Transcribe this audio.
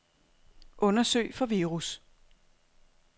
Undersøg for virus.